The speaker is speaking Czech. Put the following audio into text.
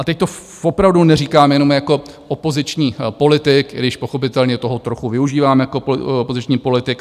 A teď to opravdu neříkám jenom jako opoziční politik, i když pochopitelně toho trochu využívám jako opoziční politik.